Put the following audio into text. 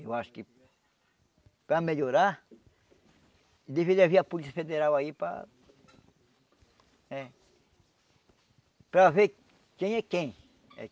Eu acho que para melhorar, deveria vir a Polícia Federal aí para eh... Para ver quem é quem eh.